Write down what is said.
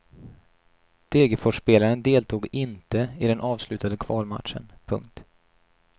Degerforsspelaren deltog inte i den avslutande kvalmatchen. punkt